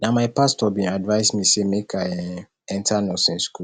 na my pastor bin advice me sey make i um enta nursing skool